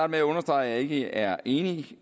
med at understrege at jeg ikke er enig